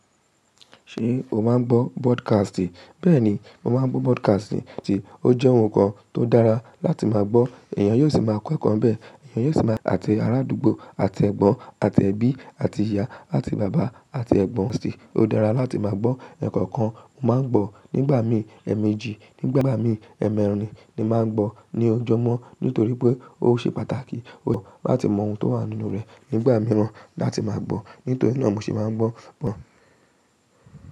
Ṣé o máa ń gbọ́ broadcast? Bẹ́ẹ̀ni, mo máa ń gbọ́ broadcast, ti ó jẹ́ ohun kan tó dára láti máa gbọ́. Èèyàn yóò sì máa kọ́ ẹ̀kọ́ n bẹ́ẹ̀, èèyàn yóò sì máa ati ara àdúgbò àti ẹ̀gbọ́n àti ẹbí àti ìyá àti bàbá àti ẹ̀gbọ́n sì. Ó dára láti máa gbọ́ ẹkọọkan, mo máa ń gbọ́ nígbà mi èèmejì, nígbàgbà mi èèmẹrìn ni màá ń gbọ́ ní ojoojúmọ́ nítorí pé ó ṣe pàtàkì. Ó dára láti mọ ohun tó wà nínú rẹ̀ nígbà mì wa láti máa gbọ́. Nítorí náà mo ṣì máa ń gbọ́, gbọ́.